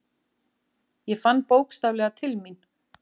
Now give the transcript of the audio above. Ég fann bókstaflega til mín.